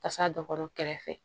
Kasa dɔ kɔrɔ kɛrɛfɛ